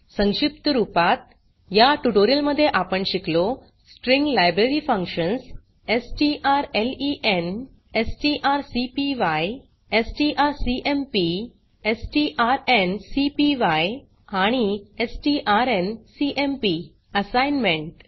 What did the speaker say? संक्षिप्त रूपात या ट्यूटोरियल मध्ये आपण शिकलो string library functions strlen strcpy strcmp strncpy आणि strncmp असाइनमेंट